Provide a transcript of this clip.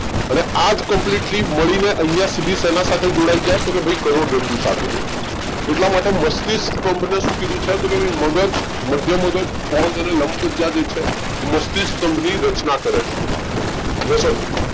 અને આ જ completely મળી ને આઇયા સુધી શેના સાથે જોડાઈ જાય તો કે ભઈ કરોડરજ્જુ સાથે જોડાઈ જાય એટલા માટે મસ્તિષ્ક સ્થંભ ને શું કીધું છે તો કે ભઈ મગજ, મધ્ય મગજ, પોન્સ અને લંબમજ્જા જે છે મસ્તિષ્ક સ્થંભ ની રચના કરે છે Yes or No